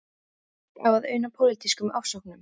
Fólk á að una pólitískum ofsóknum.